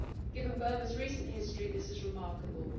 Given Burma's recent history, this is remarkable.